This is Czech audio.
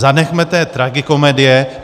Zanechme té tragikomedie!